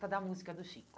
Por causa da música do Chico.